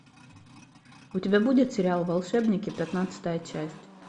у тебя будет сериал волшебники пятнадцатая часть